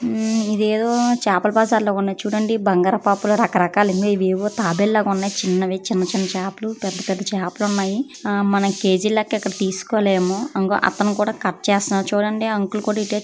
ఉమ్ ఇదేదో చేపల బజార్ ల ఉన్నది. చూడండి బంగారు పాపాలు రకరకాలు ఉన్నాయి. ఇవేవో తాబెలూ లాగా ఉన్నాయి. చిన్నవి చిన్న చిన్న చేపలు పెద్ద పెద్ద చేపలు ఉన్నాయి. మనం కేజీ ల లెక్క ఇక్కడ తీసకోలేము. అంగో అతను కూడా కట్ చేస్తున్నాడు చూడండి. అంకుల్ కూడా ఇటే చూస్తునాడు.